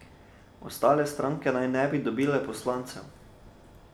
Ostale stranke naj ne bi dobile poslancev.